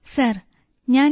sir ഞാൻ M